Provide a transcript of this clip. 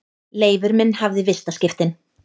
Leifur minn hafði vistaskiptin.